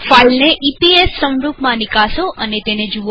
ફાઈલને E P S સંરૂપમાં નિકાસો અને તેને જુઓ